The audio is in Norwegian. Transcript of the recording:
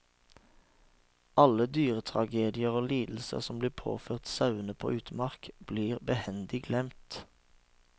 Alle dyretragedier og lidelser som blir påført sauene på utmark, blir behendig glemt.